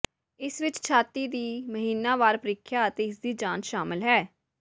ਇਸ ਵਿਚ ਛਾਤੀ ਦੀ ਮਹੀਨਾਵਾਰ ਪ੍ਰੀਖਿਆ ਅਤੇ ਇਸਦੀ ਜਾਂਚ ਸ਼ਾਮਲ ਹੈ